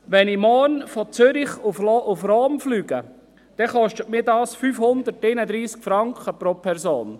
Wenn ich morgen von Zürich nach Rom fliege, kostet mich das 531 Franken pro Person.